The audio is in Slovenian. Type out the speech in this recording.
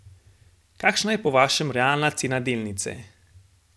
Kakšna je po vašem realna cena delnice?